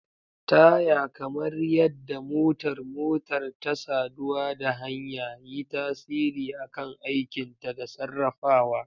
Taya, kamar yadda motar motar ta saduwa da hanya, yi tasiri a kan aikinta da sarrafawa.